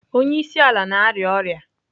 Onye isi ala na-arịa ọrịa.